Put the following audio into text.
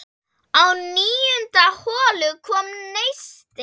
Á níundu holu kom neisti.